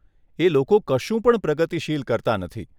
એ લોકો કશું પણ પ્રગતિશીલ કરતાં નથી.